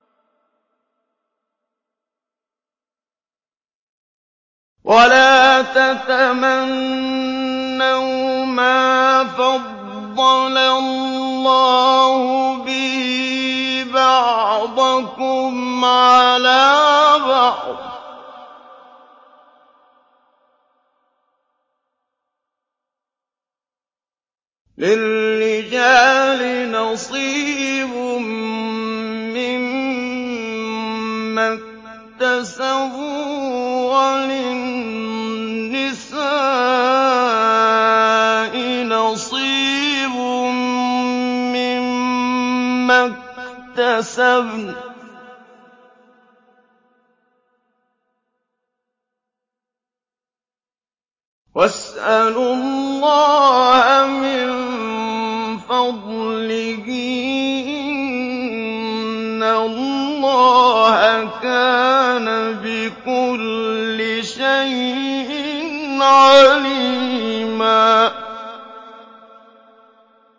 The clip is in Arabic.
وَلَا تَتَمَنَّوْا مَا فَضَّلَ اللَّهُ بِهِ بَعْضَكُمْ عَلَىٰ بَعْضٍ ۚ لِّلرِّجَالِ نَصِيبٌ مِّمَّا اكْتَسَبُوا ۖ وَلِلنِّسَاءِ نَصِيبٌ مِّمَّا اكْتَسَبْنَ ۚ وَاسْأَلُوا اللَّهَ مِن فَضْلِهِ ۗ إِنَّ اللَّهَ كَانَ بِكُلِّ شَيْءٍ عَلِيمًا